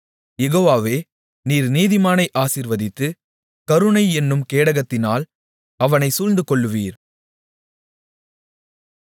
யெகோவாவே நீர் நீதிமானை ஆசீர்வதித்து கருணை என்னும் கேடகத்தினால் அவனைச் சூழ்ந்து கொள்ளுவீர்